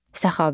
Səxavət.